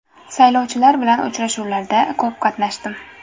Saylovchilar bilan uchrashuvlarda ko‘p qatnashdim.